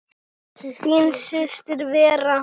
Þín systir Vera.